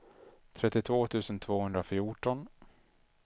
trettiotvå tusen tvåhundrafjorton